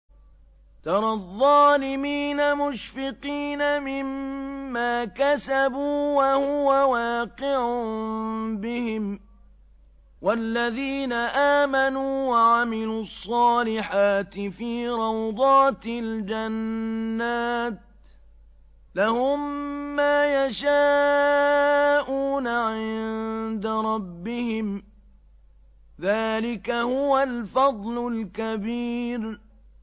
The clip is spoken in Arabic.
تَرَى الظَّالِمِينَ مُشْفِقِينَ مِمَّا كَسَبُوا وَهُوَ وَاقِعٌ بِهِمْ ۗ وَالَّذِينَ آمَنُوا وَعَمِلُوا الصَّالِحَاتِ فِي رَوْضَاتِ الْجَنَّاتِ ۖ لَهُم مَّا يَشَاءُونَ عِندَ رَبِّهِمْ ۚ ذَٰلِكَ هُوَ الْفَضْلُ الْكَبِيرُ